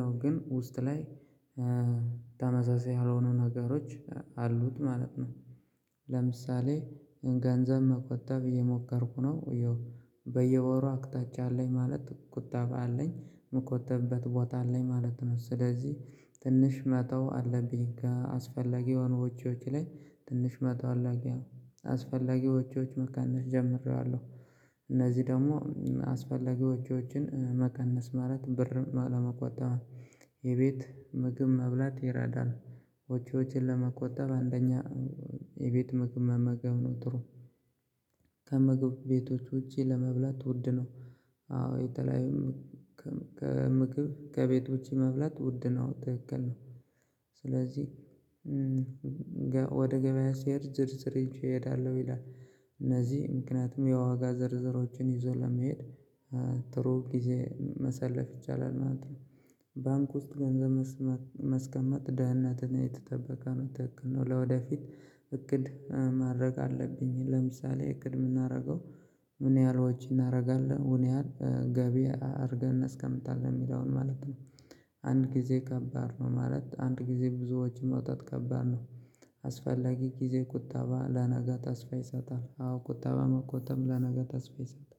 ነው ግን ውስጥ ላይ ተመሳሳይ ያልሆኑ ነገሮች አሉት ማለት ነው። ለምሳሌ ገንዘብ መቆጠብ እየሞከርኩ ነው እዮ በየወሩ አቅጣጫ አለኝ ማለት ቁጠባ አለኝ የምቆጥብበት ቦታ አለኝ ማለት ነው። ስለዚህ ትንሽ መተው አለብኝ ከ አስፈላጊ የሆኑ ወጭዎች ላይ ትንሽ መተው አለብኝ። አስፈላጊ ወጭዎች መቀነስ ጀምሬያለሁ። እነዚህ ደግሞ አስፈላጊ ውጭዎችን መቀነስ ማለት ብር ለመቆጠብ የቤት ምግብ መብላት ይረዳል። ወጭዎችን ለመቆጠብ አንደኛ የቤት ምግብ መመገብ ነው ጥሩ። ከምግብ ቤቶች ውጪ ለመብላት ውድ ነው። አዎ የተለያዩ ከም ከምግብ ከቤት ውጪ መብላት ውድ ነው ትክክል ነው። ስለዚህ ወደ ገበያ ስሄድ ዝርዝር ይዤ እሄዳለሁ ይላል። እነዚህ ምክንያቱም የዋጋ ዝርዝሮችን ይዞ ለመሄድ ጥሩ ጊዜ ማሳለፍ ይቻላል ማለት ነው። ባንክ ውስጥ ገንዘብ መስመ ማቀመጥ ደህነትን የተጠበቀ ነው። ትክክል ነው። ለወደፊት እቅድ ማድረግ አለብኝ። ለምሳሌ እቅድ የምናደርገው ምን ያህል ወጪ እናደርጋለን ምን ያህል ገቢ አድርገን እናስቀምጣለን የሚለውን ማለት ነው። አንድ ጊዜ ከባድ ነው። ማለት አንድ ጊዜ ብዙ ወጭ ማውጣት ከባድ ነው። አስፈላጊ ጊዜ ቁጠባ ለነጋ ተስፋ ይሰጣል። አዎ ቁጣባ መቆጠብ ለነገ ተስፋ ይሰጣል